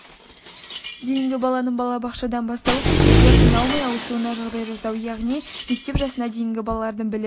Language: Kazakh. дейінгі баланың балабақшадан бастауыш мектепке қиналмай ауысуына жағдай жасау яғни мектеп жасына дейінгі балалардың білім